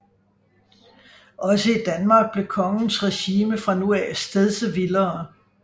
Også i Danmark blev kongens regime fra nu af stedse vildere